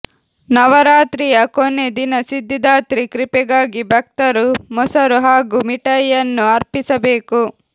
ನವರಾತ್ರಿಯ ಕೊನೆ ದಿನ ಸಿದ್ಧಿದಾತ್ರಿ ಕೃಪೆಗಾಗಿ ಭಕ್ತರು ಮೊಸರು ಹಾಗೂ ಮಿಠಾಯಿಯನ್ನು ಅರ್ಪಿಸಬೇಕು